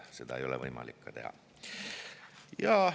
Seda ei ole võimalik teha.